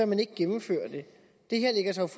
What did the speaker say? man ikke gennemføre det det her lægger sig